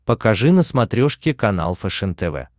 покажи на смотрешке канал фэшен тв